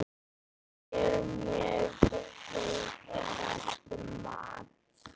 Það er mjög hóflegt mat.